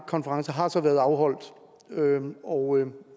konference har så været afholdt og